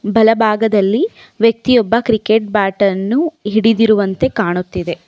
ಬಲಭಾಗದಲ್ಲಿ ವ್ಯಕ್ತಿಯೊಬ್ಬ cricket bat ಅನ್ನು ಹಿಡಿದಿರುವಂತೆ ಕಾಣುತ್ತದೆ.